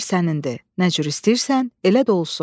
Əmr sənindi, nə cür istəyirsən, elə də olsun.